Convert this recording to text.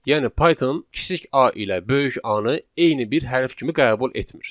Yəni Python kiçik A ilə böyük A-nı eyni bir hərf kimi qəbul etmir.